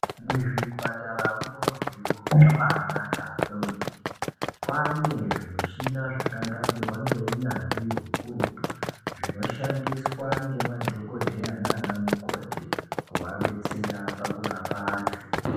Muzvipataramwo zviro zvabaanaka kwemene. Kwaane zvimichina zvakagadzirwa ngeunyanzvi hukurutu zvinoshandiswa ngemadhokodheya naanamukoti kuadetsera pakurapa antu